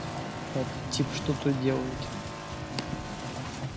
а этот тип что тут делает